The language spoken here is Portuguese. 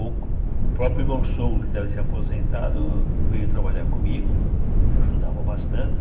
O o próprio meu sogro, que estava aposentado, veio trabalhar comigo, me ajudava bastante.